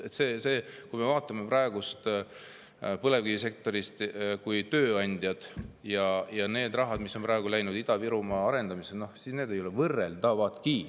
Kui me vaatame praegust põlevkivisektorit kui tööandjat ja seda raha, mis on läinud Ida-Virumaa arendamiseks, siis need ei ole võrreldavadki.